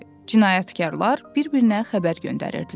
Cinayətkarlar bir-birinə xəbər göndərirdilər.